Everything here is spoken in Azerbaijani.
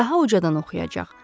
Daha ucadan oxuyacaq.